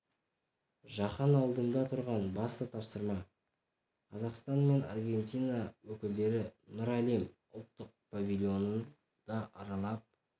жаһан алдында тұрған басты тапсырма қазақстан мен аргентина өкілдері нұр әлем ұлттық павильонын да аралап